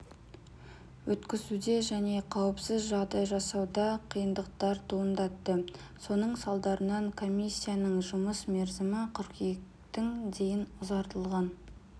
өткізуде және қауіпсіз жағдай жасауда қиындықтар туындатты соның салдарынан комиссияның жұмыс мерзімі қыркүйектің дейін ұзартылған